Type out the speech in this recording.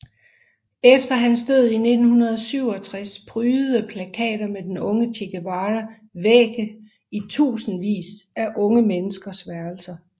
Efter hans død i 1967 prydede plakater med den unge Che Guevara vægge i tusinder af unge menneskers værelser